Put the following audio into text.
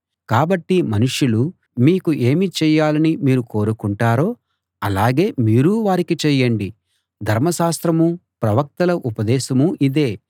కాబట్టి మనుషులు మీకు ఏమి చేయాలని మీరు కోరుకుంటారో అలాగే మీరూ వారికి చేయండి ధర్మశాస్త్రమూ ప్రవక్తల ఉపదేశమూ ఇదే